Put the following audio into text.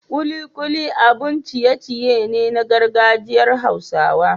Kulikuli abun ciye-ciye ne na gargajiyar hausa.